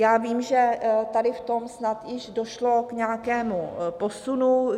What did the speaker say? Já vím, že tady v tom snad již došlo k nějakému posunu.